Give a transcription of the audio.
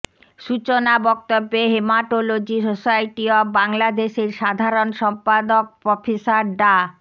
সূচনা বক্তব্যে haematology society of বাংলাদেশের সাধারণ সম্পাদক প্রফেসর ডা